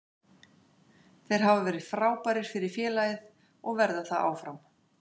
Þeir hafa verið frábærir fyrir félagið og verða það áfram.